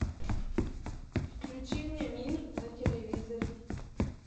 включи мне мир на телевизоре